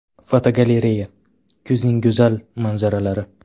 Fotogalereya: Kuzning go‘zal manzaralari.